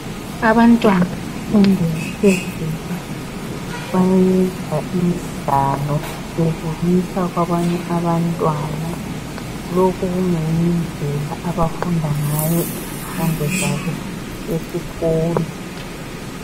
abantwana bemfundo yaphezulu bayenza imidlalo bebonisa kwaanye abantwana lokhu kungeyinye indlela abafunda ngayo izifundo zabo esikolo